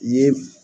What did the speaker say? Ye